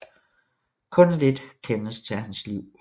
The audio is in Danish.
Kun lidt kendes til hans liv